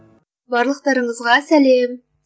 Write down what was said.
барлықтарыңызға сәлем